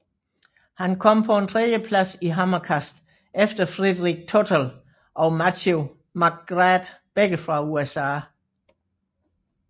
Han kom på en tredjeplads i hammerkast efter Frederic Tootell og Matthew McGrath begge fra USA